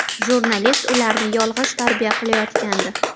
Jurnalist ularni yolg‘iz tarbiya qilayotgandi.